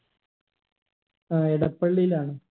ഏർ എടപ്പള്ളിയിലാണോ